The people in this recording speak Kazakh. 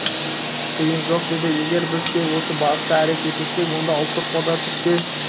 тиын жоқ деді егер біз тек осы бағытта әрекет етсек онда ұлттық қорда түк те